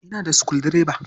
Ina da sukuldireba.